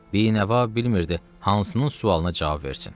Bi-nəva bilmirdi hansının sualına cavab versin.